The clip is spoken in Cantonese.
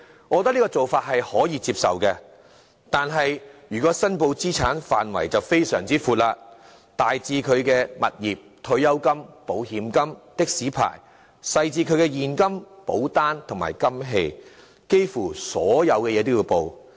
我認為這項要求可以接受，但資產申報的範圍便非常寬闊，大至其物業、退休金、保險金及的士牌照；小至其現金、保單和金器，幾乎所有項目也要申報。